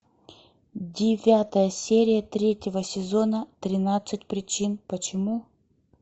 девятая серия третьего сезона тринадцать причин почему